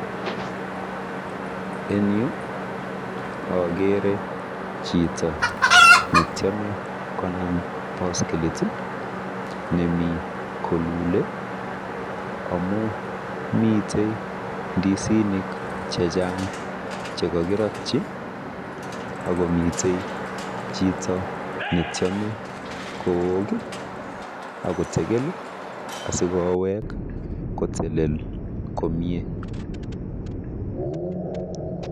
En yu akeere chito netiome konam boskilit nemi kolule amu mitei ndisinik chechang chekokirotyi akomi tei chito netiome kook asikowech akotelel komie.